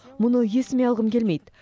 мұны есіме алғым келмейді